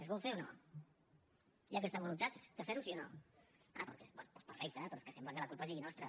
es vol fer o no hi ha aquesta voluntat de fer ho sí o no és que sembla que la culpa sigui nostra